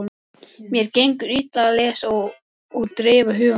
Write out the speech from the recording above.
Mér gengur illa að lesa og dreifa huganum.